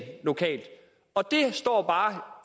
lokalt og det står bare